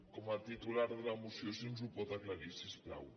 com a titular de la moció si ens ho pot aclarir si us plau